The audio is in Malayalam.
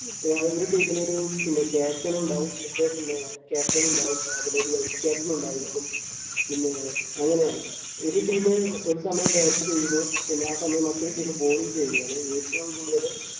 പിന്നെ ആ ഓരോ team നും ഒരു പിന്നെ captain ഉണ്ടാവും ഇത് പിന്നെ ആഹ് captain ഉണ്ടാവും അവിടൊരു vice captain ഉണ്ടായിരിക്കും പിന്നേ അങ്ങനെയാണ് ഒരു team ഒരു സമയം bat ചെയ്യുന്നു പിന്നെ ആ സമയം മറ്റൊരു team bowling ചെയ്യുകയാണ് ഏറ്റവും കൂടുതല്